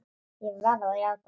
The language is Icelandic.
Ég verð að játa það!